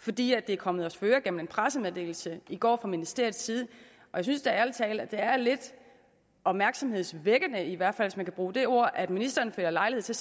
fordi det er kommet os for øre gennem en pressemeddelelse i går fra ministeriets side og jeg synes da ærlig talt at det er lidt opmærksomhedsvækkende i hvert fald hvis man kan bruge det ord at ministeren finder lejlighed til